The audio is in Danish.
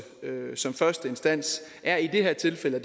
som første instans er i det her tilfælde at